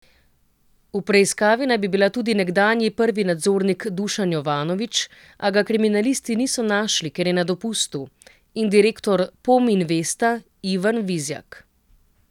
V preiskavi naj bi bila tudi nekdanji prvi nadzornik Dušan Jovanovič, a ga kriminalisti niso našli, ker je na dopustu, in direktor Pom Investa Ivan Vizjak.